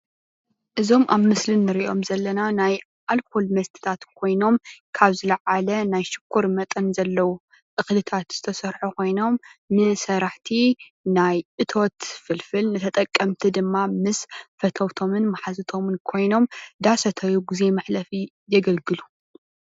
እዞም ኣብ ምስሊ እንሪኦም ዘለና ናይ ኣልኮል መስተታት ኮይኖም ካብ ዝለዓለ ናይ ሽኮር መጠን ዘለዎ እክልታት ዝተሰርሑ ኮይኖም ንሰራሕቲ ናይ እቶት ፍልፍል ንተጠቀምቲ ድማ ምስ ፈተውቶምን ማሓዙቶምን ኮይኖም እንዳሰተዩ ግዜ መሕለፊ የገልግሉ፡፡